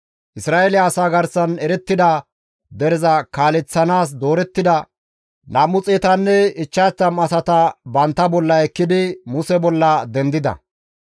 Isra7eele asaa garsan erettida dereza kaaleththanaas doorettida 250 asata bantta bolla ekkidi Muse bolla dendida.